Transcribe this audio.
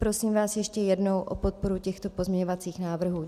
Prosím vás ještě jednou o podporu těchto pozměňovacích návrhů.